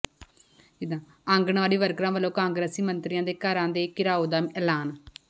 ਆਂਗਣਵਾੜੀ ਵਰਕਰਾਂ ਵਲੋਂ ਕਾਂਗਰਸੀ ਮੰਤਰੀਆਂ ਦੇ ਘਰਾਂ ਦੇ ਘਿਰਾਉ ਦਾ ਐਲਾਨ